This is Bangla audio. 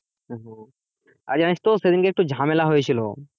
আর জানিস তো সেদিনকে একটু ঝামেলা হয়েছিল।